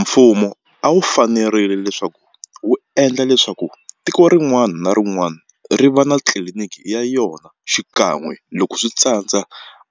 Mfumo a wu fanerile leswaku wu endla leswaku tiko rin'wana na rin'wana ri va na tliliniki ya yona xikan'we loko swi tsandza